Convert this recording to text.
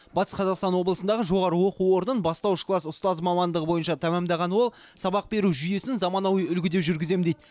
батыс қазақстан облысындағы жоғары оқу орнын бастауыш класс ұстазы мамандығы бойынша тәмамдаған ол сабақ беру жүйесін заманауи үлгіде жүргіземін дейд